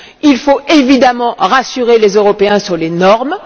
Il faut évidemment rassurer les Européens sur les normes.